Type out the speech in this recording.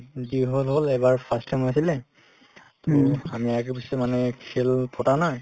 যি হল হল এইবাৰ first time হৈছিলে to আমি আগে-পিছে মানে খেল পতা নাই